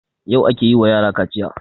Yau ake yin wa yarakaciya